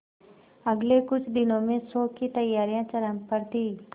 अगले कुछ दिनों में शो की तैयारियां चरम पर थी